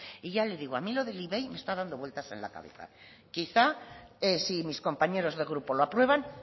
y ya le digo a mí lo del ivei me está dando vueltas en la cabeza quizá si mis compañeros de grupo lo aprueban